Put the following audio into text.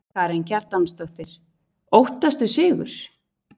Karen Kjartansdóttir: Óttastu sigur?